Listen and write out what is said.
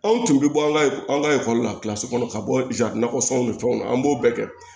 Anw tun bɛ bɔ an ka an ka la kilasi kɔnɔ ka bɔ nakɔ sɔn ni fɛnw na an b'o bɛɛ kɛ